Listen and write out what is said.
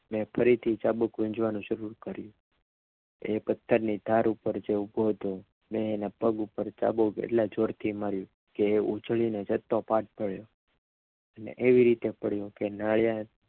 મેં ફરીથી ચાબુક વીજવાનું શરૂ કર્યું એ પથ્થરની ધાર ઉપર જે ઊભો હતો મેં એના પગ પર ચાબુક એટલા જોરથી મારી કે ઉજળી ને છતે પાઠ પડ્યો એવી રીતે પડ્યો કે